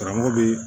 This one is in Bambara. Karamɔgɔ bɛ